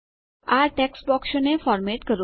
આ ટેક્સ્ટ બોક્સોને ફોર્મેટ કરો